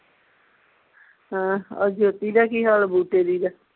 ਹਾਂ ਆ ਜੋਤੀ ਦਾ ਕੀ ਹਾਲ ਦੀ ਦਾ